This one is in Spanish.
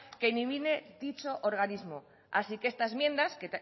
que elimine dicho organismos así que